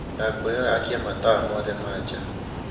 ndakūhoya akia matawa mothe ma jaa